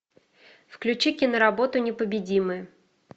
включи киноработу непобедимые